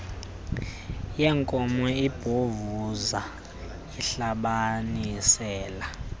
yenkomo ibhovuza ihlabanisela